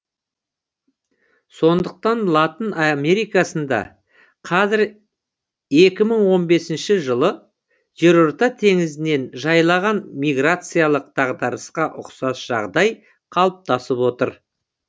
сондықтан латын америкасында қазір екі мың он бесінші жылы жерорта теңізін жайлаған миграциялық дағдарысқа ұқсас жағдай қалыптасып отыр